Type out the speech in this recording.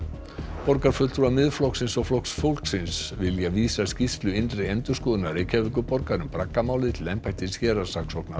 borgarfulltrúar Miðflokksins og Flokks fólksins vilja vísa skýrslu innri endurskoðunar Reykjavíkurborgar um til embættis héraðssaksóknara